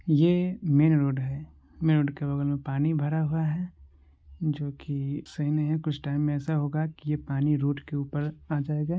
ये main road है main road के बगल मे पानी भरा हुआ है जो की सही नहीं है कुछ टाइम में ऐसा होगा के ये पानी रोड के ऊपर आ जायेगा।